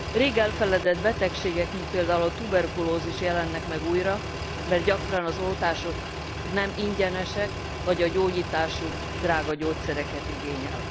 Rég elfeledett betegségek, mint például a tuberkulózis jelennek meg újra, mert gyakran az oltások nem ingyenesek, vagy a gyógyításuk drága gyógyszereket igényel.